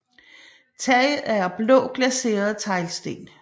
Taget er af blå glaserede teglsten